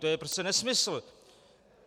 To je prostě nesmysl.